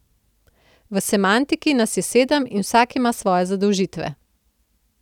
V Semantiki nas je sedem in vsak ima svoje zadolžitve.